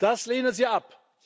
Das lehnen sie ab.